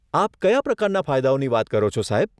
આપ કયા પ્રકારના ફાયદાઓની વાત કરો છો, સાહેબ?